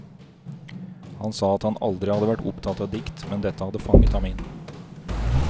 Han sa at han aldri hadde vært opptatt av dikt, men dette hadde fanget ham inn.